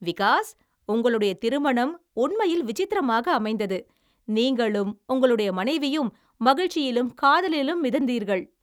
விகாஸ், உங்களுடைய திருமணம் உண்மையில் விசித்திரமாக அமைந்தது. நீங்களும் உங்களுடைய மனைவியும் மகிழ்ச்சியிலும் காதலிலும் மிதந்தீர்கள்.